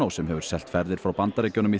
sem hefur selt ferðir frá Bandaríkjunum